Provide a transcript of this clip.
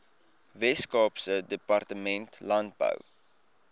weskaapse departement landbou